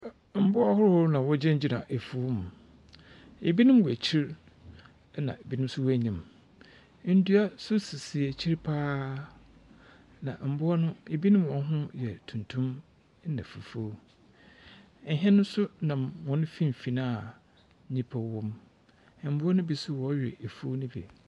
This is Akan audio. Mboa ahorow na wɔgyinagyina efuw mu. Ebinom wɔ ekyir, na ebinom nso wɔ enyim. Ndua nso sisi ekyir pa ara, na mboa no ebinom hɔn ho yɛ tuntum na fufuw. Ɛhɛn no nso nam hɔn mfimfin a nyimpa wom. Mboa no bi nso wɔrewɛ efuw no bi.